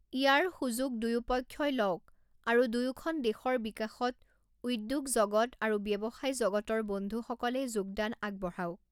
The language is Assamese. ইয়াৰ সূযোগ দুয়োপক্ষই লওঁক আৰু দুয়োখন দেশৰ বিকাশত উদ্যোগজগত আৰু ব্যৱসায়জগতৰ বন্ধুসকলে যোগদান আগবঢ়াওক।